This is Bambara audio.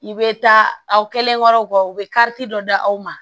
I bɛ taa aw kɛlenkɔrɔ u bɛ kariti dɔ d'aw ma